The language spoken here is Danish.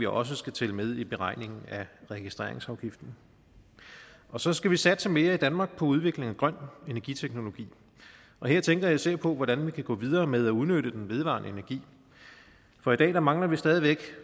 også skal tælle med i beregningen af registreringsafgiften så skal vi satse mere i danmark på udvikling af grøn energiteknologi og her tænker jeg især på hvordan vi kan gå videre med at udnytte den vedvarende energi for i dag mangler vi stadig væk